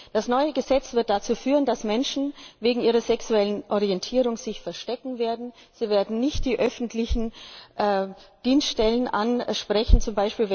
Das neue Gesetz wird dazu führen, dass Menschen sich wegen ihrer sexuellen Orientierung verstecken werden, sie werden nicht die öffentlichen Dienststellen ansprechen, z.